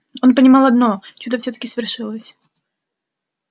он понимал одно чудо всё-таки свершилось